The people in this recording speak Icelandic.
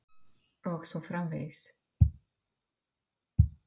. og svo framvegis.